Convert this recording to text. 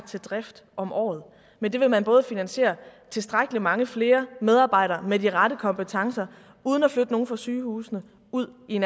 til drift om året med det vil man både finansiere tilstrækkelig mange flere medarbejdere med de rette kompetencer uden at flytte nogen fra sygehusene ud i